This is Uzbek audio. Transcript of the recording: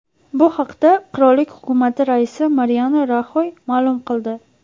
Bu haqda qirollik hukumati raisi Mariano Raxoy ma’lum qildi.